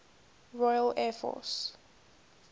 royal air force